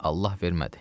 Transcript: Allah vermədi.